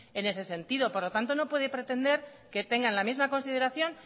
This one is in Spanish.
en ese sentido por lo tanto no puede pretender que tengan la misma consideración